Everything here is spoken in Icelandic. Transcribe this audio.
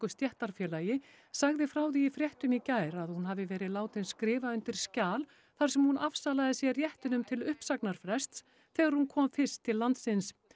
stéttarfélagi sagði frá því í fréttum í gær að hún hafi verið látin skrifa undir skjal þar sem hún afsalaði sér réttinum til uppsagnarfrests þegar hún kom fyrst til landsins